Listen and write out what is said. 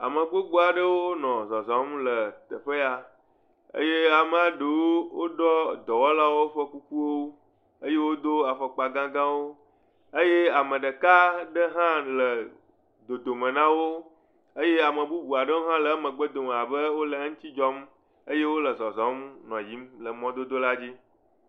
Ame gbogbo aɖewo nɔ zɔzɔm le teƒe ya eye amaa ɖewo woɖɔ dɔwɔlawo ƒe kukuwo. Eye wodo afɔkpa gãgãwo. Eye ame ɖeka ɖe hã le dodome na wo eye ame bubu aɖe hã le eƒe megbedome abe wole eŋuti dzɔm eye wole zɔzɔm nɔ yiyim le mɔdodo la dzi.